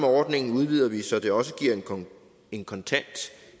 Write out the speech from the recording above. ordningen udvider vi så det også giver en kontant